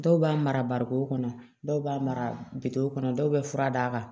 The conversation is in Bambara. Dɔw b'a mara barikon kɔnɔ dɔw b'a kɔnɔ dɔw bɛ fura d'a kan